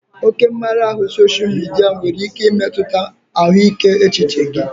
Oke mmara ahụ sosha midia nwere ike imetụta ahụike echiche gị